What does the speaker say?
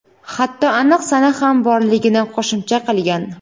hatto aniq sana ham borligini qo‘shimcha qilgan.